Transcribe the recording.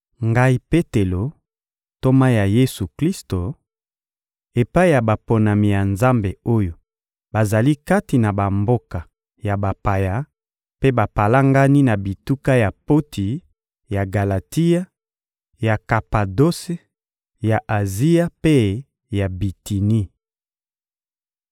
Ngai Petelo, ntoma ya Yesu-Klisto; Epai ya baponami ya Nzambe oyo bazali kati na bamboka ya bapaya mpe bapalangani na bituka ya Ponti, ya Galatia, ya Kapadose, ya Azia mpe ya Bitini.